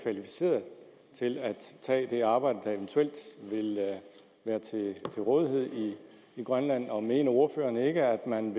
kvalificerede til at tage det arbejde der eventuelt ville være til rådighed i grønland og mener ordføreren ikke at man